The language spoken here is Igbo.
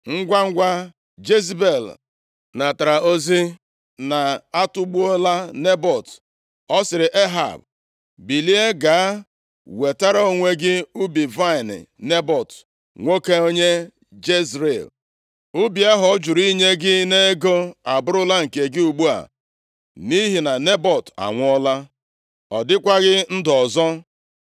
Ngwangwa Jezebel natara ozi na a tụgbola Nebọt, ọ sịrị Ehab, “Bilie, gaa nwetara onwe gị ubi vaịnị Nebọt, nwoke onye Jezril. Ubi ahụ ọ jụrụ inye gị nʼego abụrụla nke gị ugbu a nʼihi na Nebọt anwụọla. Ọ dịkwaghị ndụ ọzọ!”